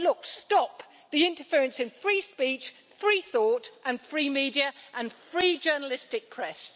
Look, stop the interference in free speech, free thought and free media and free journalistic press.